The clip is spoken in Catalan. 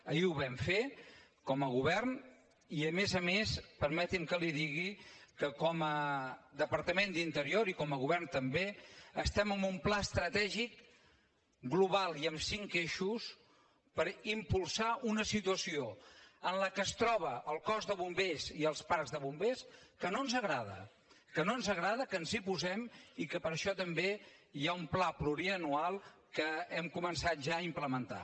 ahir ho vam fer com a govern i a més a més permeti’m que li digui que com a departament d’interior i com a govern també estem en un pla estratègic global i amb cinc eixos per impulsar una situació en la qual es troba el cos de bombers i els parcs de bombers que no ens agrada que no ens agrada que ens hi posem i que per això també hi ha un pla plurianual que hem començat ja a implementar